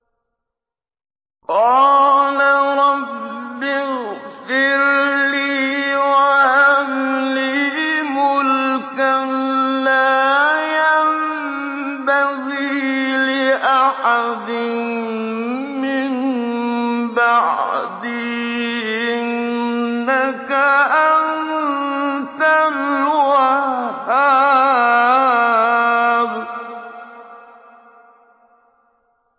قَالَ رَبِّ اغْفِرْ لِي وَهَبْ لِي مُلْكًا لَّا يَنبَغِي لِأَحَدٍ مِّن بَعْدِي ۖ إِنَّكَ أَنتَ الْوَهَّابُ